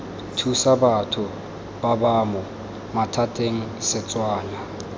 thusa batho babamo mathateng setswana